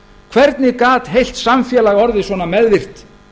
hvernig gat heilt samfélag orðið svona meðvirkt